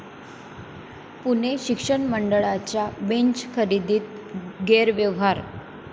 पुणे शिक्षक मंडळाच्या बेंच खरेदीत गैरव्यवहार!